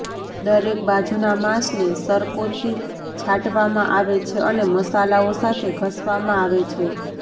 દરેક બાજુના માંસને સરકોથી છાંટવામાં આવે છે અને મસાલાઓ સાથે ઘસવામાં આવે છે